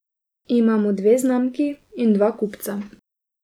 Imamo dve znamki in dva kupca.